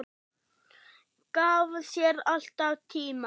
Gaf sér alltaf tíma.